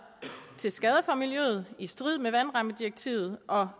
til skade for miljøet er i strid med vandrammedirektivet og